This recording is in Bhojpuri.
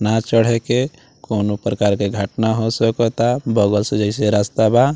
नाव चढ़े के कोन्हो प्रकार के घटना हो सोको ता बगल से जैसे रस्ता बा।